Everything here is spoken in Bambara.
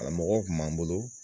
A mɔgɔ tun b'an bolo.